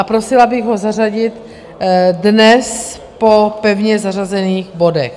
A prosila bych ho zařadit dnes po pevně zařazených bodech.